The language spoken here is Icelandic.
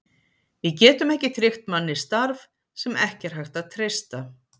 Við getum ekki tryggt manni starf, sem ekki er hægt að treysta.